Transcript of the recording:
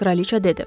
Kraliça dedi.